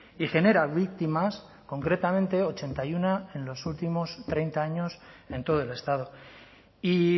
y genera víctimas concretamente ochenta y uno en los últimos treinta años en todo el estado y